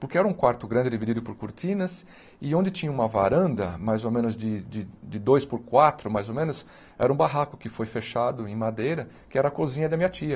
Porque era um quarto grande, dividido por cortinas, e onde tinha uma varanda, mais ou menos de de de dois por quatro, mais ou menos, era um barraco que foi fechado em madeira, que era a cozinha da minha tia.